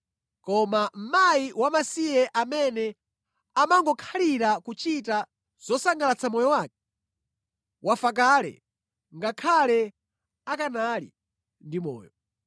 Koma mkazi wamasiye amene amangokhalira kuchita zosangalatsa moyo wake, wafa kale ngakhale akanali ndi moyo.